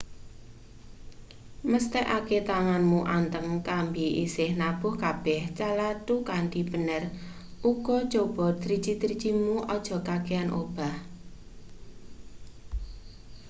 mesthekake tanganmu anteng kambi isih nabuh kabeh calathu kanthi bener uga coba driji-drijimu aja kakehan obah